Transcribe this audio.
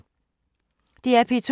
DR P2